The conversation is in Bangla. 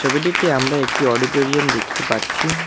ছবিটিতে আমরা একটি অডিটোরিয়াম দেখতে পাচ্ছি।